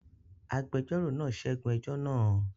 Agbẹjọ́rò náà ṣẹ́gun ẹjọ́ náà?